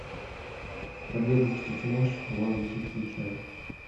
победа через мощь в воздухе включай